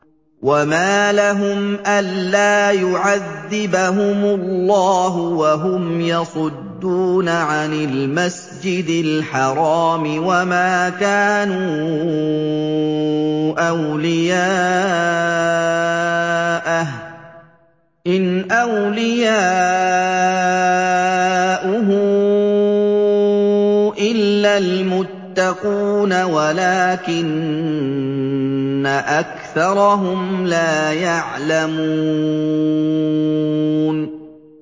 وَمَا لَهُمْ أَلَّا يُعَذِّبَهُمُ اللَّهُ وَهُمْ يَصُدُّونَ عَنِ الْمَسْجِدِ الْحَرَامِ وَمَا كَانُوا أَوْلِيَاءَهُ ۚ إِنْ أَوْلِيَاؤُهُ إِلَّا الْمُتَّقُونَ وَلَٰكِنَّ أَكْثَرَهُمْ لَا يَعْلَمُونَ